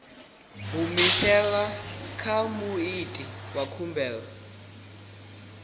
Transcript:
humiselwa kha muiti wa khumbelo